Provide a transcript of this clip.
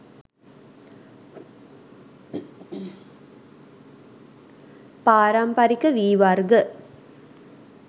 පාරමිපරික වී වර්ග